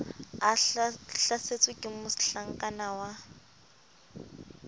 a hlasetswe ke mohlakana wa